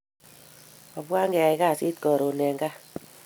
Obwan keyai kasit karun en gaa